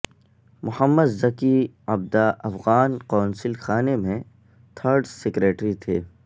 محمد ذکی عبدہ افغان قونصل خانے میں تھرڈ سیکریٹری تھے